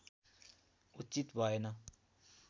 उचित भएन